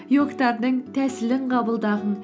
иогтардың тәсілін қабылдағын